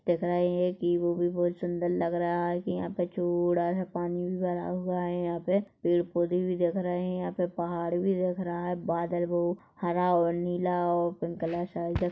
दिख रहे हैं कि वो भी बहुत सुंदर लग रहा है की यहाँ पे पानी भी भरा हुआ हैयहॉं पे पेड़ पौधे भी दिख रहे हैं यहाँ पे पहाड़ भी दिख रहा है बादल हरा और नीला और पिंक कलर का--